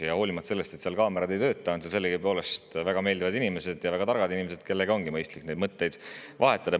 Ja hoolimata sellest, et seal kaamerad ei tööta, on seal sellegipoolest väga meeldivad ja targad inimesed, kellega on mõistlik mõtteid vahetada.